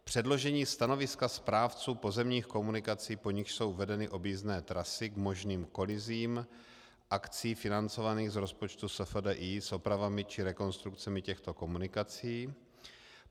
předložení stanoviska správců pozemních komunikací, po nichž jsou vedeny objízdné trasy, k možným kolizím akcí financovaných z rozpočtu SFDI s opravami či rekonstrukcemi těchto komunikací;